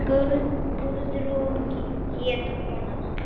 Guðrún hét kona hans.